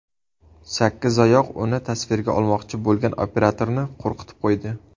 Sakkizoyoq uni tasvirga olmoqchi bo‘lgan operatorni qo‘rqitib qo‘ydi .